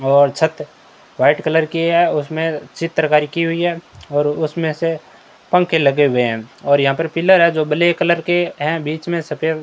और छत white colour की है उसमें चित्रकारी की हुई है और उसमें से पंखे लगे हुए हैं और यहां पर पिलर हैं जो ब्लैक कलर के हैं बीच में सफेद --